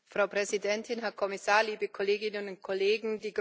Frau Präsidentin, Herr Kommissar, liebe Kolleginnen und Kollegen!